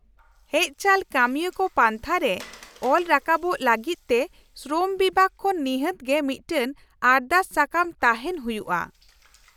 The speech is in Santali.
-ᱦᱮᱡᱪᱟᱞ ᱠᱟᱹᱢᱤᱭᱟᱹᱠᱚ ᱯᱟᱱᱛᱷᱟ ᱨᱮ ᱚᱞ ᱨᱟᱠᱟᱵᱚᱜ ᱞᱟᱹᱜᱤᱫᱛᱮ ᱥᱨᱚᱢ ᱵᱤᱵᱷᱟᱹᱜ ᱠᱷᱚᱱ ᱱᱤᱦᱟᱹᱛ ᱜᱮ ᱢᱤᱫᱴᱟᱝ ᱟᱨᱫᱟᱥ ᱥᱟᱠᱟᱢ ᱛᱟᱦᱮᱱ ᱦᱩᱭᱩᱜᱼᱟ ᱾